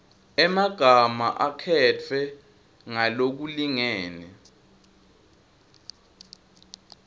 emagama akhetfwe ngalokulingene